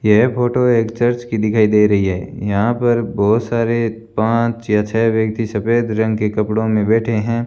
यह फोटो एक चर्च की दिखाई दे रही है यहां पर बहुत सारे पांच या छह व्यक्ति सफेद रंग के कपड़ों में बैठे हैं।